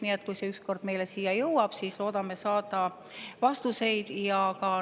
Nii et kui see ükskord meile siia jõuab, siis loodame saada vastuseid.